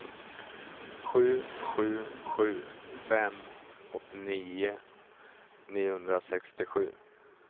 sju sju sju fem åttionio niohundrasextiosju